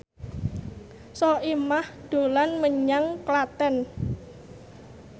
Soimah dolan menyang Klaten